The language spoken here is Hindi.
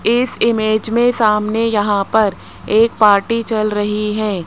इस इमेज में सामने यहां पर एक पार्टी चल रही है।